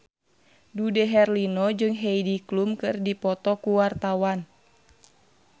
Dude Herlino jeung Heidi Klum keur dipoto ku wartawan